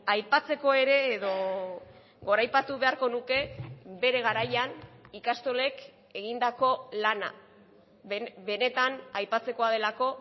aipatzeko ere edo goraipatu beharko nuke bere garaian ikastolek egindako lana benetan aipatzekoa delako